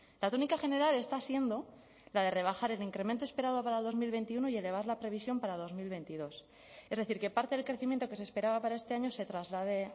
la tónica general está siendo la de rebajar el incremento esperado para dos mil veintiuno y elevar la previsión para dos mil veintidós es decir que parte del crecimiento que se esperaba para este año se traslade